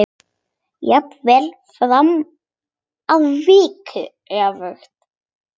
Jafnvel farnar að virka öfugt.